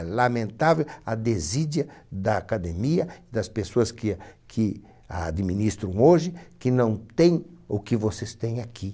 É lamentável a desídia da academia, das pessoas que que a administram hoje, que não tem o que vocês têm aqui.